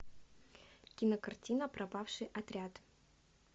кинокартина пропавший отряд